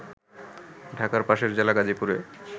ঢাকার পাশের জেলা গাজীপুরে